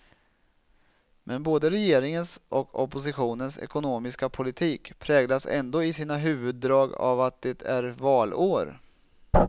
Men både regeringens och oppositionens ekonomiska politik präglas ändå i sina huvuddrag av att det är valår.